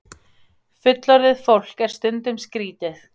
Fullorðið fólk er stundum skrítið.